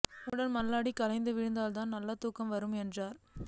உன்னுடன் ம்ல்லாடி களைத்து விழுந்தால்தான் நல்ல தூக்கம் வரும் என்றான்